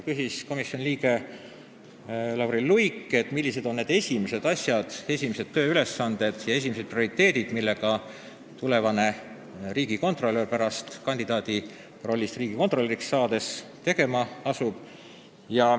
Komisjoni liige Lauri Luik küsis, millised on need esimesed asjad, esimesed tööülesanded ja prioriteedid, millega tulevane riigikontrolör kandidaadi rollist riigikontrolöriks saades tegelema asub.